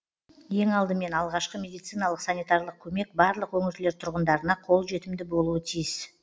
ең алдымен алғашқы медициналық санитарлық көмек барлық өңірлер тұрғындарына қолжетімді болуы тиіс